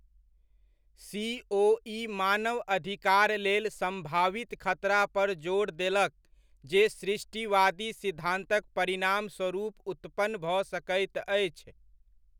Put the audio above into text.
CoE मानव अधिकार लेल सम्भावित खतरा पर जोर देलक जे सृष्टिवादी सिद्धान्तक परिणामस्वरूप उत्पन्न भऽ सकैत अछि।